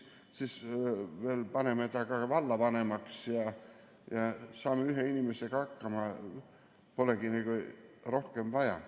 Siis me paneme ta ka vallavanemaks ja saamegi ühe inimesega hakkama, polegi rohkem vaja.